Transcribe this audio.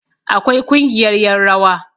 akwai Kungiyar yan rawa